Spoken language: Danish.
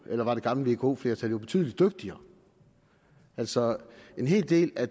var det gamle vko flertal jo betydelig dygtigere altså en hel del af